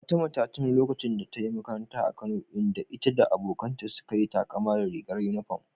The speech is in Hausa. Fatima ta tuno lokacin da ta yi makaranta a Kano, inda ita da abokanta suka yi takama da rigar uniform.